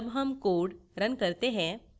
जब हम code run करते हैं